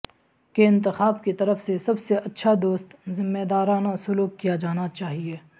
کے انتخاب کی طرف سے سب سے اچھا دوست ذمہ دارانہ سلوک کیا جانا چاہئے